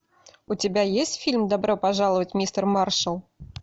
у тебя есть фильм добро пожаловать мистер маршал